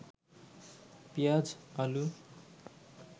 পেঁয়াজ, আলু